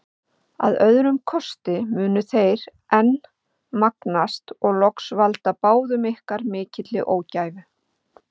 Að öðrum kosti munu þeir enn magnast og loks valda báðum ykkur mikilli ógæfu.